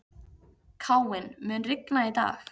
Káinn, mun rigna í dag?